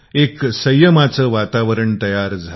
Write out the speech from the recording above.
आता एक संयमाचे वातावरण बनले आहे